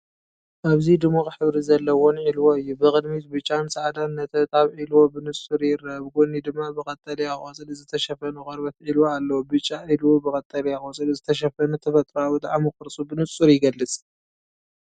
ኣብዚ ድሙቕ ሕብሪ ዘለዎን ዒልዎ እዩ። ብቕድሚት ብጫን ጻዕዳን ነጠብጣብ ዒልዎ ብንጹር ይረአ ብጎኒ ድማ ብቀጠልያ ቆጽሊ ዝተሸፈነ ቆርበት ዒልዎ ኣሎ። ብጫ ዒልዎ ብቀጠልያ ቆጽሊ ዝተሸፈነ ተፈጥሮኣዊ ጣዕሙ ቅርጹ ብንጹር ይገልጽ።